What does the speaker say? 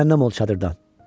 Cəhənnəm ol çadırdan.